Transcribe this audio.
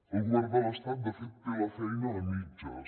el govern de l’estat de fet té la feina a mitges